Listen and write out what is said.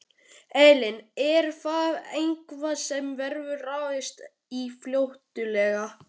Elín: Er það eitthvað sem verður ráðist í fljótlega?